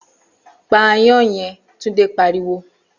Pa aáyán yen!', Túndé pariwo